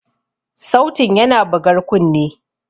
Sautin yana bugar kunne.